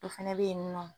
Dɔ fɛnɛ be yen nɔ